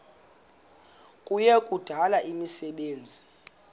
kuya kudala imisebenzi